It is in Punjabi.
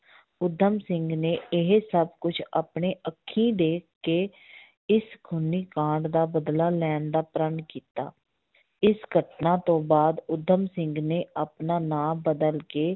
ਊਧਮ ਸਿੰਘ ਨੇ ਇਹ ਸਭ ਕੁਛ ਆਪਣੇ ਅੱਖੀ ਦੇਖ ਕੇ ਇਸ ਖੂਨੀ ਕਾਂਡ ਦਾ ਬਦਲਾ ਲੈਣ ਦਾ ਪ੍ਰਣ ਕੀਤਾ, ਇਸ ਘਟਨਾ ਤੋਂ ਬਾਅਦ ਊਧਮ ਸਿੰਘ ਨੇ ਆਪਣਾ ਨਾਂ ਬਦਲ ਕੇ